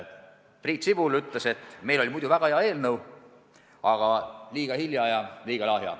Priit Sibul ütles, et meil oli muidu väga hea eelnõu, aga liiga hilja esitatud ja liiga lahja.